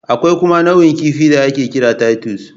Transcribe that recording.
Akwai kuma nau'in kifi da ake kira Titus